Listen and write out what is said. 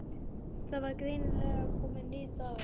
Það var greinilega kominn nýr dagur.